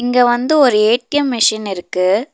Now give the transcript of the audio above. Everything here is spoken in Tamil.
இங்க வந்து ஒரு ஏ_டி_எம் மிஷின் இருக்கு.